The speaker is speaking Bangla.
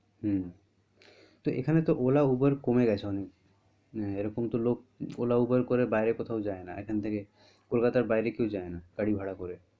হম তো এখানে তো ওলা, উবার কমে গেছে অনেক, হম এরকম তো লোক ওলা, উবের করে বাইরে কোথাও যাই না, এখান থেকে কলকাতার বাইরে কেউ যাই না গাড়ি ভাড়া করে।